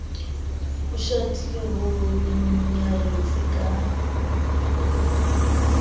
ho shatile ho nyaretse ka